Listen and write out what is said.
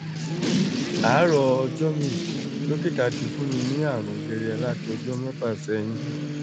àárọ̀ ọjọ́ mi dókítà ti ń fún mi ní àrùn jẹjẹrẹ láti ọjọ́ mẹ́fà sẹ́yìn